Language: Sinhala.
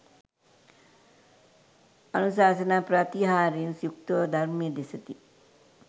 අනුශාසනා ප්‍රාතිහාර්යයෙන් යුක්ත ව ධර්මය දෙසති